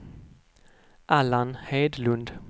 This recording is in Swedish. Allan Hedlund